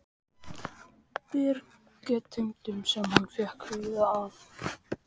bergtegundum, sem hann fékk víða að.